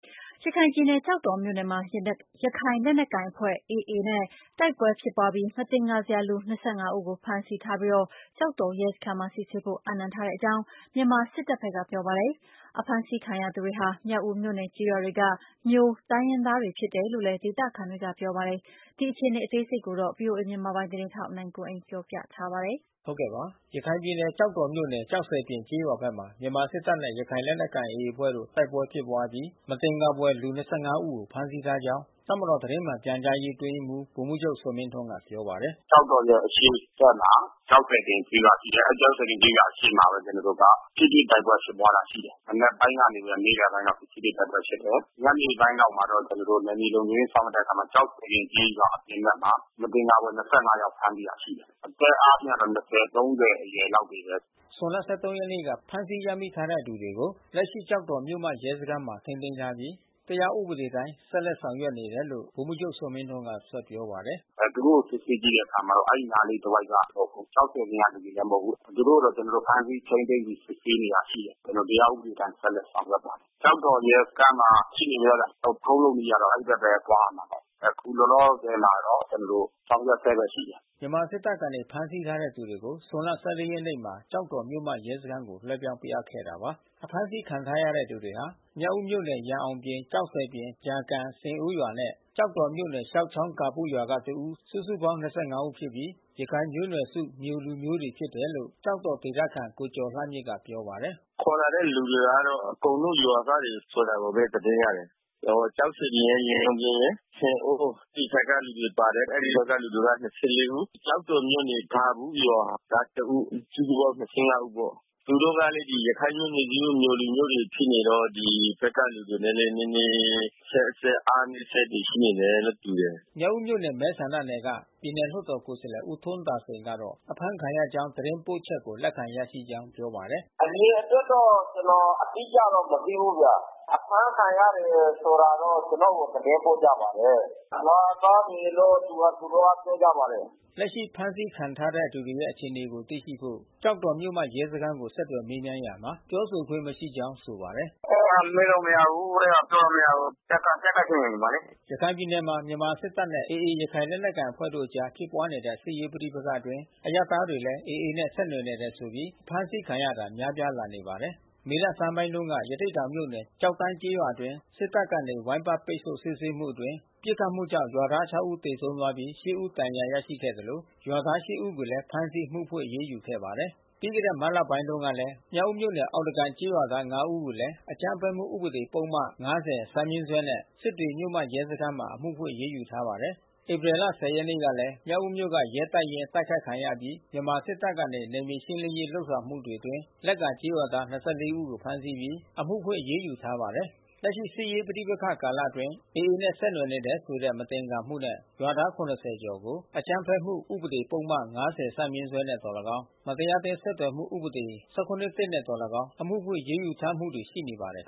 ရခိုင်ပြည်နယ် ကျောက်တော်မြို့နယ်မှာ ရခိုင်လက်နက်ကိုင် AA အဖွဲ့နဲ့ တိုက်ပွဲဖြစ်ပွားအပြီး မသင်္ကာဘွယ်လူ ၂၅ ဦးကို ဖမ်းဆီးထားပြီး ကျောက်တော်ရဲစခန်းမှာ စစ်ဆေးဖို့အပ်နှံထားကြောင်း မြန်မာစစ်တပ်က ပြောပါတယ်။ ဒေသခံတွေကတော့ အဖမ်းဆီးခံရသူတွေဟာ မြောက်ဦးမြို့နယ်ကျေးရွာတွေက မြိုတိုင်းရင်းသားတွေ ဖြစ်တယ်လို့လည်း ပြောနေတာပါ။ ဒီအခြေအနေကို ဗွီအိုအေမြန်မာပိုင်း သတင်းထောက် နိုင်ကွန်းအိန်က သတင်းပေးပို့ထားပါတယ်။ ရခိုင်ပြည်နယ် ကျောက်တော်မြို့နယ် ကျောက်ဆည်ပြင်ကျေးရွာဘက်မှာ မြန်မာစစ်တပ်နဲ့ ရခိုင်လက်နက်ကိုင် AA အဖွဲ့ တို့ တိုက်ပွဲဖြစ်ပွားအပြီး မသင်္ကာဘွယ်လူ ၂၅ ဦးကို ဖမ်းဆီးထားကြောင်း တပ်မတော် သတင်းမှန်ပြန်ကြားရေး အတွင်းရေးမှူး ဗိုလ်မှူးချုပ်ဇော်မင်းထွန်းက ပြောပါတယ်။ “ကျောက်တော်ရဲ့ အရှေ့ဘက်မှာ ကျောက်ဆည်ပြင်ကျေးရွာ ရှိတယ်။ အဲဒီကျောက်ဆည်ပြင်ကျေးရွာ အရှေ့ဘက်မှာပဲ ကျနော်တို့က ထိတွေ့ တိုက်ပွဲဖြစ်ပွားတာ ရှိတယ်။ မနက်ပိုင်းကနေ နေ့လယ်ပိုင်းလောက် ထိတွေ့တိုက်ပွဲ ဖြစ်ပွားတယ်။ ညနေပိုင်းလောက်မှာတော့ ကျနော်တို့ နယ်မြေလုံခြုံရေး ဆောင်ရွက်တဲ့အခါမှာ ကျောက်ဆည်ပြင်ကျေးရွာအပြင် ဘက်မှာ မသင်္ကာစရာ ၂၅ ယောက်ဖမ်းဆီး ရရှိတယ်။ အသက်အားဖြင့်တော့ ၂ဝ၊ ၃ဝ အရွယ်လောက်တွေပဲ။” ဇွန်လ ၁၃ ရက်နေ့က ဖမ်းဆီးရမိထားတဲ့သူတွေကို လက်ရှိကျောက်တော်မြို့မ ရဲစခန်းမှာ ထိန်းသိမ်းထားပြီး တရားဥပဒေအတိုင်း ဆက်လက်ဆောင်ရွက်နေတယ်လို့ စစ်တပ်ပြောခွင့်ရသူ ဗိုလ်မှူးချုပ်ဇော်မင်းထွန်း ကပြောပါတယ်။ “သူတို့ကို စစ်ဆေးကြည့်တဲ့အခါမှာတော့ အဲဒီနားလေးတဝိုက်က မဟုတ်ဘူး။ ကျောက်ဆည်ပြင်က လူတွေလည်း မဟုတ်ဘူး။ သူတို့ကို ကျနော်တို့ ဖမ်းဆီးထိန်းသိမ်းပြီး စစ်ဆေးနေတာရှိတယ်။ တရားဥပဒေအတိုင်း ဆက်လက်ဆောင်ရွက်သွားမယ်။ ကျောက်တော်ရဲစခန်းမှာရှိနေတယ်။ လုပ်ထုံးလုပ်နည်းကတော့ အဲဒီဘက်ပဲ သွားရမှာပဲ။ အခုလောလောဆယ်တော့ ကျနော်တို့ ဆောင်ရွက်ဆဲပဲရှိတယ်။” စစ်တပ်က ဖမ်းဆီးထားတဲ့ သူတွေကို ဇွန်လ ၁၄ ရက်နေ့မှာ ကျောက်တော်မြို့မ ရဲစခန်းကို လွှဲပြောင်းပေးအပ်ခဲ့တာပါ။ အဖမ်းဆီးခံထားရတဲ့ သူတွေဟာ မြောက်ဦးမြို့နယ် ရန်အောင်ပြင် ကျောက်ဆည်ပြင် ကြာကန် ဆင်အိုးရွာနဲ့ ကျောက်တော်မြို့နယ် ရှောက်ချောင်းဂါပုရွာက တဦး စုစုပေါင်း ၂၅ ဦးဖြစ်ပြီး ရခိုင်မျိုးနွယ်စု မြိုလူမျိုးများဖြစ်တယ်လို့ ကျောက်တော်ဒေသခံ ကိုကျော်လှမြင့်ကပြောပါတယ်။ “ခေါ်လာတဲ့ လူတွေကလည်း အကုန်လုံးရွာသားတွေဆိုတာပဲ သတင်းရတယ်။ ကျောက်ဆည်ပြင်ရယ် ရန်အောင်ပြင်ရယ် ဆင်အိုးအဲဒီဘက်က လူတွေပါတယ်။ အဲဒီရွာက လူတွေက ၂၄ ဦး။ ကျောက်တော်မြို့နယ် ဂါပုရွာကတဦး စုစုပေါင်း ၂၅ ဦးပေါ့။ သူတို့ကလည်း ရခိုင်မျိုးနွယ်စုမြိုလူမျိးတွေ ဖြစ်နေတော့ ဒီဘက်ကလူတွေနဲ့ နည်းနည်း အဆက်ဆက် အားနည်းချက်ရှိနေတယ်နဲ့ တူတယ်။” မြောက်ဦးမြို့နယ် မဲဆန္ဒနယ်က ပြည်နယ်လွှတ်တော်ကိုယ်စားလှယ်ဦး ထွန်းသာစိန်ကတော့ အဖမ်းခံရကြောင်းသတင်း ပို့ချက်ကို လက်ခံရရှိကြောင်းပြောပါတယ်။ “အရေအတွက်တော့ ကျနော်အတိအကျ မသိဘူးဗျ။ အဖမ်းခံရတယ်ဆိုတာတော့ ကျနော်ကိုသတင်းပို့ကြပါတယ်။ ရွာသားတွေလို့ သူတို့က သတင်းပို့ကြပါတယ်။” လက်ရှိဖမ်းဆီးခံထားတဲ့ သူတွေရဲ့အခြေအနေကိုသိရှိဖို့ကျောက်တော်မြို့မရဲစခန်းကိုဆက်သွယ်မေးမြန်းရာမှာ ပြောခွင့်မရှိကြောင်း ဆိုပါတယ်။ “အဲတာ မေးလို့မရဘူး။ အဲတာပြောလို့မရဘူး။ တပ်က ဖြစ်လို့နေမှာလေ။” ရခိုင်ပြည်နယ်မှာ မြန်မာ့စစ်တပ်နဲ့ AA ရခိုင်လက်နက်ကိုင်အဖွဲ့တို့အကြားမှာ ဖြစ်ပွားတဲ့စစ်ရေးပဋိပက္ခအတွင်း အရပ်သားတွေလည်း AA နဲ့ ဆက်နွယ်နေတယ်ဆိုပြီး အဖမ်းခံရတာ များပြားလာနေပါတယ်။ မေလဆန်းပိုင်းတုန်းက ရသေ့တောင်မြို့နယ် ကျောက်တန်းကျေးရွာအတွင်း စစ်တပ်ကနေ ဝိုင်းပတ်ပိတ်ဆို့ စစ်ဆေးမှုအတွင်း ပစ်ခတ်မှုကြောင့် ရွာသား ခြောက် ဦး သေဆုံးသွားပြီး ရှစ် ဦး ဒဏ်ရာ ရရှိခဲ့သလို ရွာသား ရှစ် ဦးကိုလည်း ဖမ်းဆီးပြီး အမှုဖွင့် အရေးယူထားပါတယ်။ ပြီးခဲ့တဲ့မတ်လကုန်ပိုင်းကလည်း မြောက်ဦးမြို့နယ်၊ အောက်သားကန်ကျေးရွာသား ငါး ဦးကိုလည်း အကြမ်းဖက်မှု ဥပဒေ ပုဒ်မ ၅၀ ဈ ဖြင့် စစ်တွေမြို့မရဲစခန်းမှာ အမှုဖွင့်အရေးယူထားပါတယ်။ ဧပြီလ ၁၀ ရက်နေ့ကလည်း မြောက်ဦးမြို့က ရဲတပ်ရင်း တိုက်ခိုက်ခံရအပြီး မြန်မာစစ်တပ်ကနေ နယ်မြေရှင်းလင်းရေး ဆောင်ရွက်မှုတွေအတွင်း လက္ကာကျေးရွာသား ၂၄ ဦး ဖမ်းဆီးပြီး အမှုဖွင့် အရေးယူထားပါတယ်။ လက်ရှိစစ်ရေး ပဋိပက္ခကာလအတွင်း AA နဲ့ ဆက်နွယ်နေတယ်ဆိုတဲ့ မသင်္ကာမှုနဲ့ ရွာသား ၇၀ ကျော်ကို အကြမ်းဖက်မှုဥပဒေ ပုဒ်မ ၅၀ ဈ နဲ့ သော်လည်းကောင်း မတရားအသင်းဆက်သွယ်မှု ဥပဒေ ၁၇/၁ နဲ့ သော်လည်းကောင်း အမှုဖွင့် အရေးယူထားမှုတွေ ရှိနေပါတယ်။